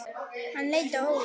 Hann leit á Óla.